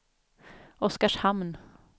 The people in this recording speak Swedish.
Oskarshamn